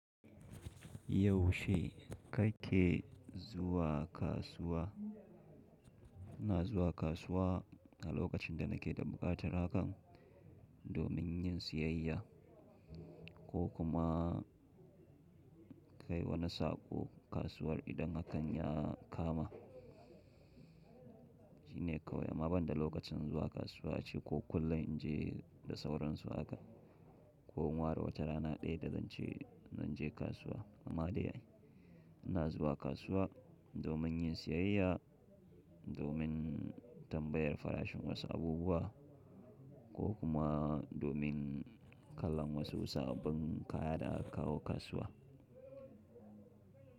Yaushe kake zuwa kasuwa? Ina zuwa kasuwa a lokacin da nake da buƙatar hakan domin yin siyayya ko kuma kai wani saƙo kasuwar idan hakan ya kama. Shine kawai, amma banda lokacin zuwa kasuwa ce ko kullum in je da sauransu haka ko in ware wata rana ɗaya da zance zan je kasuwa. Amma dai ina zuwa kasuwa domin yin siyayya, domin tambayar farashin wasu abubuwa ko kuma domin kallon wasu sabbin kaya da akawo kasuwa.